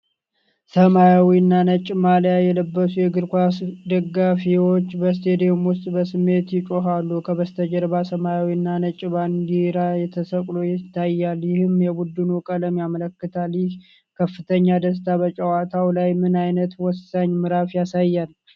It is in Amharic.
ሰማያዊና ነጭ ማልያ የለበሱ የእግር ኳስ ደጋፊዎች በስቴዲየም ውስጥ በስሜት ይጮኻሉ። ከበስተጀርባ ሰማያዊና ነጭ ባንዲራ ተሰቅሎ ይታያል፤ ይህም የቡድኑን ቀለም ያመለክታል። ይህ ከፍተኛ ደስታ በጨዋታው ላይ ምን አይነት ወሳኝ ምዕራፍ ያሳያል?